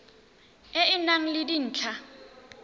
e e nang le dintlha